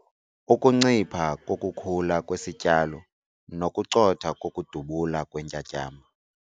Ukuncipha kokukhula kwesityalo nokucotha kokudubula kweentyatyambo.